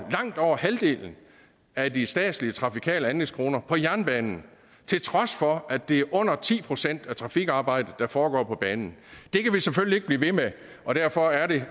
langt over halvdelen af de statslige trafikale anlægskroner på jernbanen til trods for at det er under ti procent af trafikarbejdet der foregår på banen det kan vi selvfølgelig ikke blive ved med og derfor er det